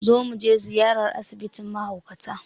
Let's pay a visit to the mental health home.